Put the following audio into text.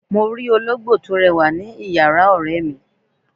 Mo ti ologbo to rewa ni iyara ore mi